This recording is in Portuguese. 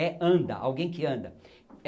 É Anda, alguém que anda.